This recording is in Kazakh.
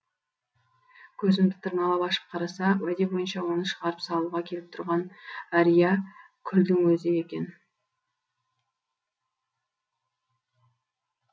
көзімді тырналап ашып қараса уәде бойынша оны шығарып салуға келіп тұрған әриякүлдің өзі екен